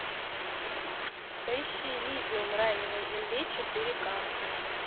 поищи элизиум рай не на земле четыре ка